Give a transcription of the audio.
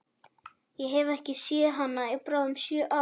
Ég hef ekki séð hana í bráðum sjö ár.